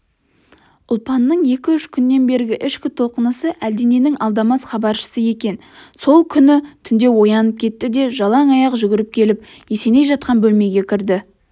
ұлпанның екі-үш күннен бергі ішкі толқынысы әлдененің алдамас хабаршысы екен сол күні түнде оянып кетті де жалаң аяқ жүгіріп келіп есеней жатқан бөлмеге кірді